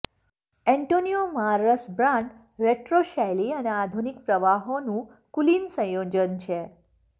Antonio Marras brand retro શૈલી અને આધુનિક પ્રવાહોના કુલીન સંયોજન છે